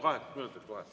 Kaheksa minutit kohe.